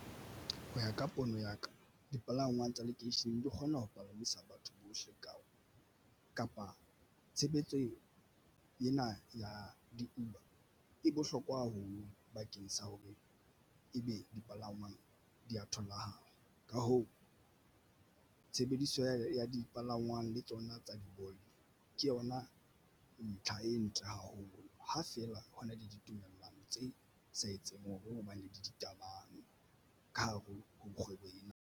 Ho ya ka pono ya ka dipalangwang tsa lekeisheneng di kgona ho palamisa batho bohle ka kapa tshebetso ena ya di-Uber e bohlokwa ho bakeng sa hore e be dipalangwang di ya tholahala. Ka hoo, tshebediso ya dipalangwang le tsona tsa di Bolt ke yona ntlha e ntle haholo, ha feela ho na le ditumellong tse sa etseng hobane di ditaba ka hare ho kgwebo ena.